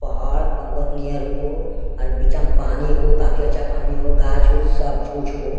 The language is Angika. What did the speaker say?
पहाड़-पर्वत नियर अकोगो आर बिचा म पानी एको काफी अच्छा पानी हो गाछ-उच्छ सब कुछ हो।